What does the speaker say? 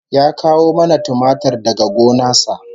Ya kawo mana tumatir daga gona sa